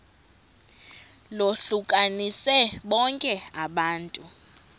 lohlukanise bonke abantu